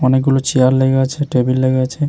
অনেক গুলো চেয়ার লেগে আছে টেবিল লেগে আছে ।